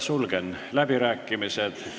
Sulgen läbirääkimised.